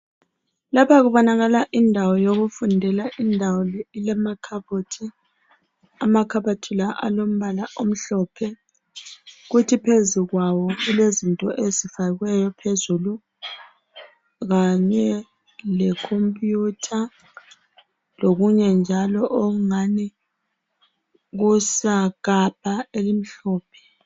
Lapha kubonakala indawo yokufundela. Indawo le ilamakhabothi. Amakhabothi la alombala omhlophe. Kuthi phezu kwawo kulezinto ezifakiweyo phezulu kanye le computer lokunye njalo okungani kusagabha elimhlophe.